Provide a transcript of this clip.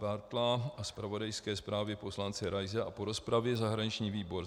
Bártla a zpravodajské zprávě poslance Raise a po rozpravě zahraniční výbor